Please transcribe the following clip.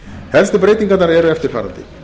helstu breytingarnar eru eftirfarandi